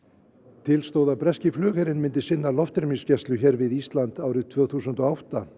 til stóð að breski flugherinn myndi sinna loftrýmisgæslu hér við Ísland árið tvö þúsund og átta